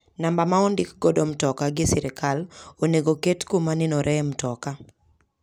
Namba ma ondik godo mtoka gi sirkal onengo oket kuma nenore e mtoka.